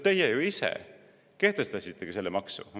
Teie ise ju kehtestasite selle maksu!